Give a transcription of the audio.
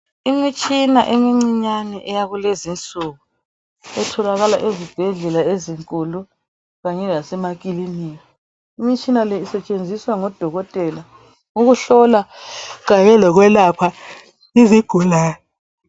Imitshina emincinyane eyakulezinsuku etholakala ezibhedlela ezinkulu kanye lasemakilinika. Imitshina le isetshenziswa ngodokotela, ukuhlola kanye lokwelapha izigulane.